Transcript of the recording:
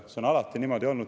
See on alati niimoodi olnud.